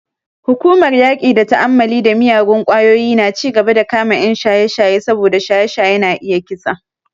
Hukumar yaƙi da ta'ammali da miyagun ƙwayoyi na cigaba da kama 'yan shaye-shaye saboda shaye-shaye na iya kisa.